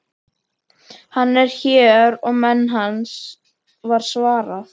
Hann er hér og menn hans, var svarað.